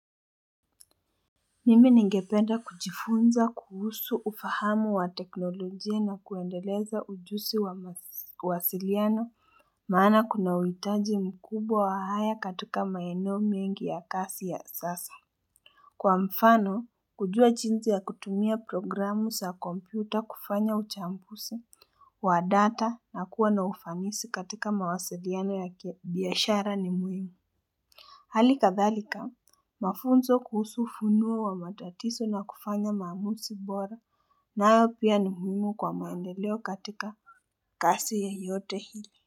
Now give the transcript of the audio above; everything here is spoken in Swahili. Mimi ningependa kujifunza kuhusu ufahamu wa teknolojia na kuendeleza ujusi wa wasiliano Maana kunauitaji mkubwa wa haya katika maeno mingi ya kasi ya sasa Kwa mfano kujua chinzi ya kutumia programu sa kompyuta kufanya uchambusi wa data na kuwa na ufanisi katika mawasiliano ya biyashara ni muhimu Hali kadhalika mafunzo kuhusu funua wa matatiso na kufanya mamusi bora nayo pia ni muhimu kwa maendeleo katika kasi yeyote hili.